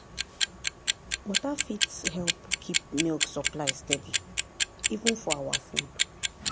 water fit help keep milk supply steady even for our food.